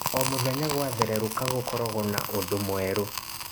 O mũthenya gwa thereruka gũkorogo na ũndũ mwerũ.